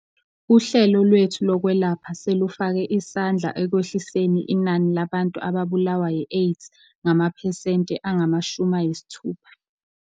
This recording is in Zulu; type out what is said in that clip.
Uhlelo lwethu lokwelapha selufake isandla ekwehliseniinani labantu ababulawa yiAIDS ngamaphesenti angama-60.